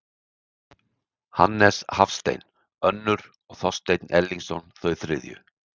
Hannes Hafstein önnur og Þorsteinn Erlingsson þau þriðju.